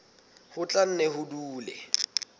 ho tla nne ho dule